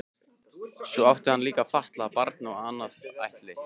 Svo átti hann líka fatlað barn og annað ættleitt.